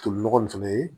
Toli nɔgɔ in fɛnɛ ye